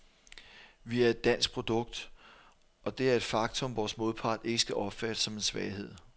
Vi er et dansk produkt, og det er et faktum, vores modpart ikke skal opfatte som en svaghed.